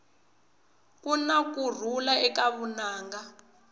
kuna kurhula eka vunanga